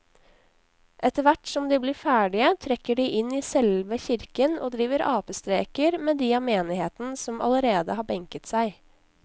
Etterthvert som de blir ferdige trekker de inn i selve kirken og driver apestreker med de av menigheten som allerede har benket seg.